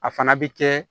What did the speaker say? A fana bɛ kɛ